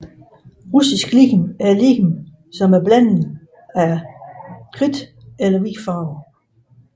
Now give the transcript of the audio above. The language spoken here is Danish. Russisk lim er lim med iblanding af kridt eller hvid farve